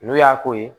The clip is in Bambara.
N'o y'a ko ye